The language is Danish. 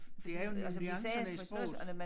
Det er jo nuancerne i sproget